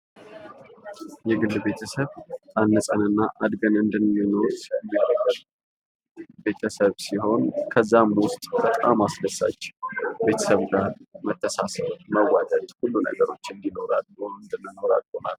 የግል ቤተሰብ ታንፀን እና አድገን እንድንኖር የሚያደርገን ቤተሰብ ሲሆን ከዛም ዉስጥ በጣም አስደሳች ከቤተሰብ ጋር መተሳሰብ መዋደድ ሁሉ ነገሮችን እንዲኖረን አድርጎናል።